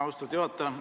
Austatud juhataja!